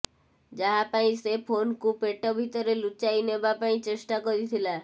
ଯାହା ପାଇଁ ସେ ଫୋନକୁ ପେଟ ଭିତରେ ଲୁଚାଇ ନେବା ପାଇଁ ଚେଷ୍ଟା କରିଥିଲା